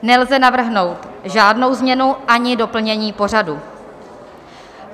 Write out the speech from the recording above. Nelze navrhnout žádnou změnu ani doplnění pořadu.